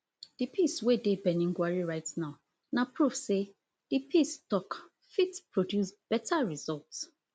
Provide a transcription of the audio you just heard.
di peace wey dey birnin gwari right now na proof say di peace tok fit produce beta result